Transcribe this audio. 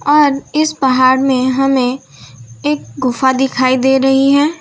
और इस पहाड़ में हमें एक गुफा दिखाई दे रही है।